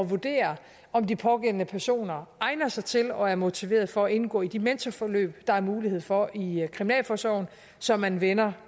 vurdere om de pågældende personer egner sig til og er motiveret for at indgå i de mentorforløb der er mulighed for i kriminalforsorgen så man vender